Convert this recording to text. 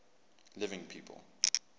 living people